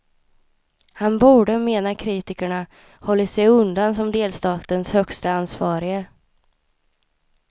Han borde, menar kritikerna, hållit sig undan som delstatens högste ansvarige.